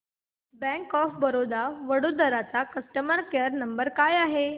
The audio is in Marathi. बँक ऑफ बरोडा वडोदरा चा कस्टमर केअर नंबर काय आहे